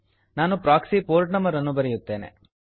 ನಾನು proxy port number ಅನ್ನು ಬರೆಯುತ್ತೇನೆ